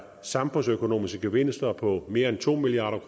samfundsøkonomiske gevinster på mere end to milliard